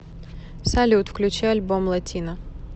салют включи альбом латино